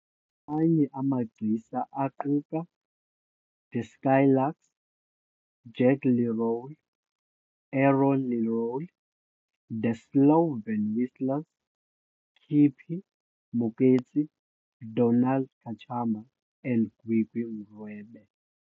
Amanye amagcisa aquka The Skylarks, Jack Lerole, Aaron Lerole, The Solven Whistlers, Kippie Moeketsi, Donald Kachamba and Gwigwi Mrwebe.